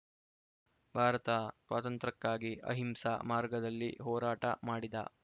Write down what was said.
ಭಾರತ ಸ್ವಾತಂತ್ರ್ಯಕ್ಕಾಗಿ ಅಹಿಂಸಾ ಮಾರ್ಗದಲ್ಲಿ ಹೋರಾಟ ಮಾಡಿದ